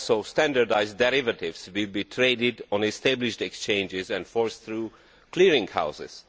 Standardised derivatives will be traded on established exchanges and forced through clearing houses.